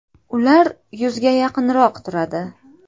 Ular yuzga yaqinroq turadi.